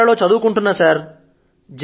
కళాశాల లో చదువుకుంటున్నా సర్